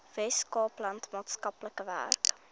weskaapland maatskaplike werk